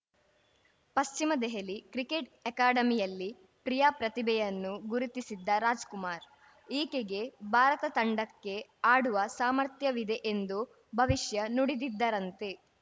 ಪಶ್ಚಿಮ ದೆಹಲಿ ಕ್ರಿಕೆಟ್‌ ಅಕ್ಯಾಡಮಿಯಲ್ಲಿ ಪ್ರಿಯಾ ಪ್ರತಿಭೆಯನ್ನು ಗುರುತಿಸಿದ್ದ ರಾಜ್‌ಕುಮಾರ್‌ ಈಕೆಗೆ ಭಾರತ ತಂಡಕ್ಕೆ ಆಡುವ ಸಾಮರ್ಥ್ಯವಿದೆ ಎಂದು ಭವಿಷ್ಯ ನುಡಿದಿದ್ದರಂತೆ